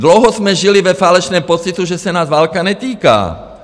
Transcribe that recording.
Dlouho jsme žili ve falešném pocitu, že se nás válka netýká.